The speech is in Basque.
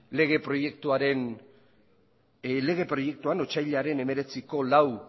lege proiektuan otsailaren hemeretziko lau